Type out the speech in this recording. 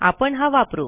आपण हा वापरू